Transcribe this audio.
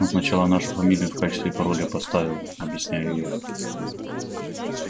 он сначала нашу фамилию в качестве пароля поставил объясняю я